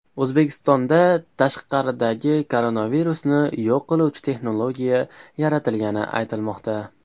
O‘zbekistonda tashqaridagi koronavirusni yo‘q qiluvchi texnologiya yaratilgani aytilmoqda .